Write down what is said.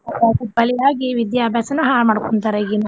ಬಲಿಯಾಗಿ ವಿದ್ಯಾಭ್ಯಾಸನ ಹಾಳ್ ಮಾಡ್ಕೊಂತಾರ ಈಗಿನ.